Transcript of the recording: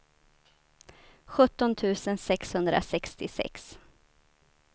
sjutton tusen sexhundrasextiosex